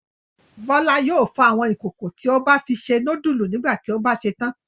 Bọ́lá yóò fọ àwọn ìkòkò tí a bá fi se núdúlù nígbà tí a bá ṣetán.